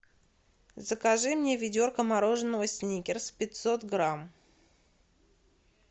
закажи мне ведерко мороженого сникерс пятьсот грамм